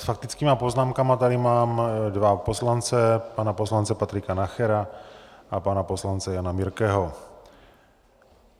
S faktickými poznámkami tady mám dva poslance, pana poslance Patrika Nachera a pana poslance Jana Birkeho.